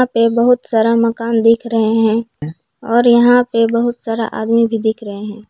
यहाँ पे बहुत सारा मकान दिख रहे हैं और यहां पे बहुत सारा आदमी भी दिख रहे हैं।